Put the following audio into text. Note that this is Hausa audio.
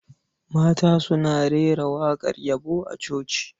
Mata suna rera waƙar yabo a coci.